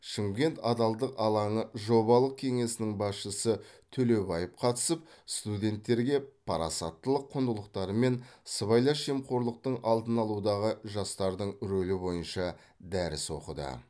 шымкент адалдық алаңы жобалық кеңсесінің басшысы төлебаев қатысып студенттерге парасаттылық құндылықтары мен сыбайлас жемқорлықтың алдын алудағы жастардың рөлі бойынша дәріс оқыды